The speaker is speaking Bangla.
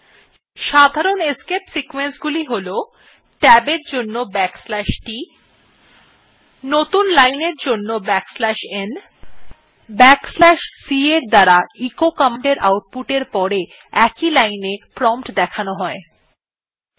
সাধারণ escape sequenceগুলি হল ট্যাব এর জন্য \t নতুন line এর জন্য \t এবং \t escape sequenceএর দ্বারা echo কমান্ডএর আউট পুটer pore prompt একই linea দেখানো হয়